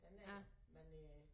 Den er men øh